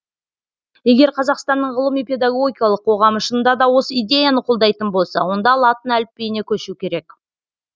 егер қазақстанның ғылыми педагогикалық қоғамы шынында да осы идеяны қолдайтын болса онда латын әліпбиіне көшу керек